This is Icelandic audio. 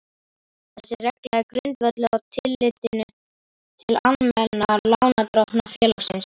Þessi regla er grundvölluð á tillitinu til almennra lánardrottna félagsins.